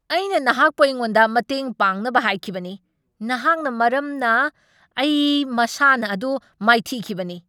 ꯑꯩꯅ ꯅꯍꯥꯛꯄꯨ ꯑꯩꯉꯣꯟꯗ ꯃꯇꯦꯡ ꯄꯥꯡꯅꯕ ꯍꯥꯏꯈꯤꯕꯅꯤ! ꯅꯍꯥꯛꯅ ꯃꯔꯝꯅ ꯑꯩ ꯃꯁꯥꯟꯅ ꯑꯗꯨ ꯃꯥꯏꯊꯤꯈꯤꯕꯅꯤ!